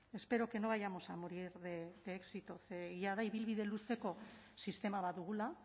espero que no vayamos a morir de éxito jada ibilbide luzeko sistema bat dugula